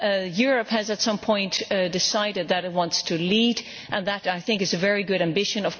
Europe has at some point decided that it wants to lead and I think that is a very good ambition.